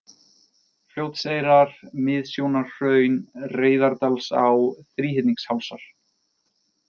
Fljótseyrar, Miðsjónarhraun, Reyðardalsá, Þríhyrningshálsar